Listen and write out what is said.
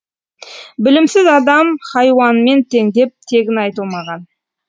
білімсіз адам хайуанмен тең деп тегін айтылмаған